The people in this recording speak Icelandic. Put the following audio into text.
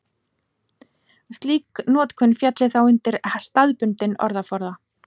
Slík notkun félli þá undir staðbundinn orðaforða.